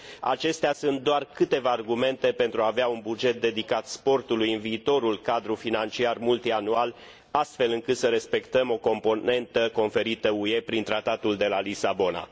Acestea sunt doar câteva argumente pentru a avea un buget dedicat sportului în viitorul cadru financiar multianual, astfel încât să respectăm o componentă conferită UE prin Tratatul de la Lisabona.